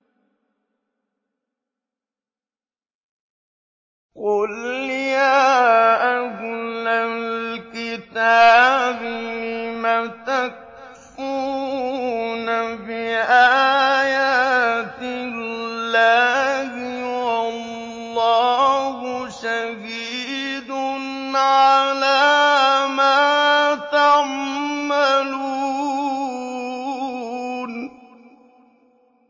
قُلْ يَا أَهْلَ الْكِتَابِ لِمَ تَكْفُرُونَ بِآيَاتِ اللَّهِ وَاللَّهُ شَهِيدٌ عَلَىٰ مَا تَعْمَلُونَ